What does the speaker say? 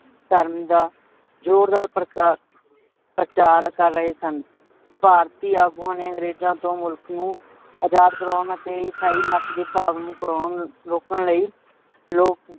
ਧਰਮ ਦਾ ਜੋਰਦਾਰ ਪਰ ਪ੍ਰਚਾਰ ਕਰ ਰਿਹੇ ਸਨ। ਭਾਰਤੀ ਆਗੂਆ ਨੇ ਅੰਗਰੇਜਾਂ ਤੋਂ ਮੁਲਖ ਨੂੰ ਆਜ਼ਾਦ ਕਰਵੋਣ ਅਤੇ ਇਸਾਈ ਮਤ ਦੇ ਭਰਵਾਵ ਨੂੰ ਰੋਕਣ ਲਈ ਲੋਕ